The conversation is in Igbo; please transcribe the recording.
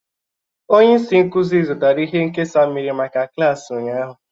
Onye isi nkuzi zụtara ihe nkesa mmiri maka klaasị ụnyahụ.